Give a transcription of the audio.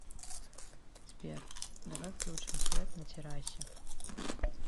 сбер давай включим свет на террасе